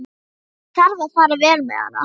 Það þarf að fara vel með hana.